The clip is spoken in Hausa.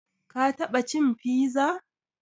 Ka taɓa cin piza?